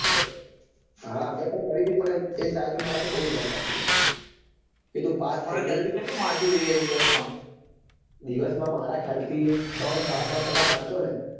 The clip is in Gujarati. હા અમે બી કરી હતી પણ એ સાહેબે મારા પર બઉ ધ્યાન આપ્યું હતું કકે તું પાસ થઇ જા દિવસ માં મારા ખ્યાલ થી ત્રણ સાડા ત્રણ કલાક વાંચો ને તો